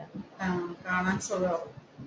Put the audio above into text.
ആഹ് കാണാൻ സുഖമാകും